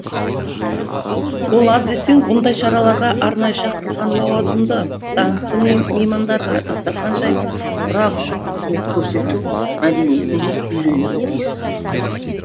ол аз десең бұндай шараларға арнайы шақырылған лауазымды даңқты меймандарға дастархан жайып құрақ ұшып қызмет көрсету мәдениетін де үйренуі тиіс